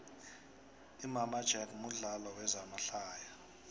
imama jack mudlalo wezama hlaya